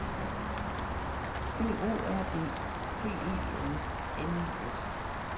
B O R D T E N N I S